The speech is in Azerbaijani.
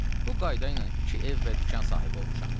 Bu qayda ilə iki ev və dükan sahibi olmuşam.